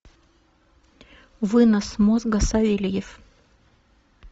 вынос мозга савельев